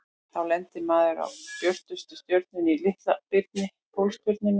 Þá lendir maður á björtustu stjörnunni í Litla-birni, Pólstjörnunni.